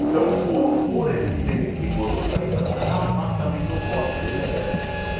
Então, por por ele ser rigoroso, aí eu é uma parte também que eu gosto dele era essa.